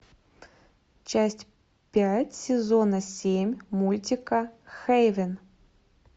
часть пять сезона семь мультика хэйвен